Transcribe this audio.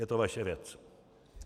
Je to vaše věc.